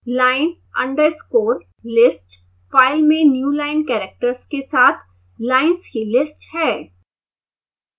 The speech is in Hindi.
line underscore list फाइल में newline characters के साथ लाइन्स की लिस्ट है